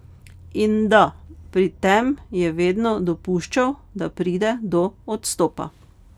In da, pri tem je vedno dopuščal, da pride do odstopa.